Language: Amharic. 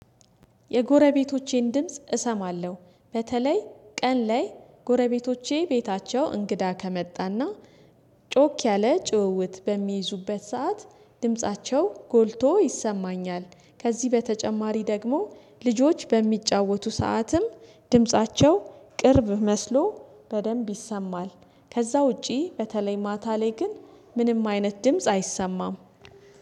የጎረቤቶቼን ድምጽ እሰማለሁ በተለይ ቀን ላይ ጎረቤቶቼ ቤታቸው እንግዳ ከመጣና ጮክ ያለ ጭውውት በሚይዙበት ሰዓት ድምፃቸው ጎልቶ ይሰማኛል። ከዚህ በተጨማሪ ደግሞ ልጆች በሚጫወቱ ሰዓትም ድምፃቸው ቅርብ መስሎ በደንብ ይሰማል። ከዛ ውጪ በተለይ ማታ ላይ ግን ምንም አይነት ድምጽ አይሰማም